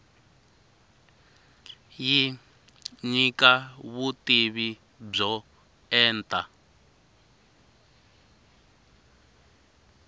yi nyika vutivi byo enta